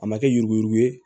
A ma kɛ yuruguyurugu ye